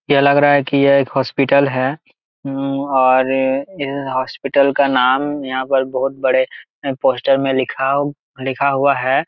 यह लग रहा है कि यह एक हॉस्पिटल है और यह हॉस्पिटल का नाम यहां पर बहुत बड़े पोस्टर में लिखाव लिखा हुआ है।